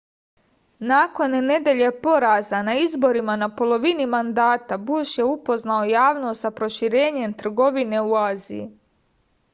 nakon nedelje poraza na izborima na polovini mandata buš je upoznao javnost sa proširenjem trgovine u aziji